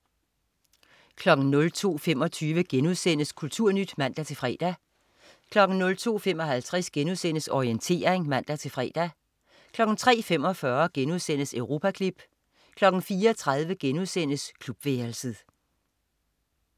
02.25 Kulturnyt* (man-fre) 02.55 Orientering* (man-fre) 03.45 Europaklip* 04.30 Klubværelset*